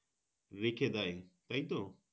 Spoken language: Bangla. রেখে দেয় তাইতো